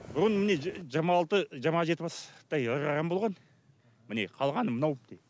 бұрын міне жиырма алты жиырма жеті бастай ірі қарам болған міне қалғаны мынау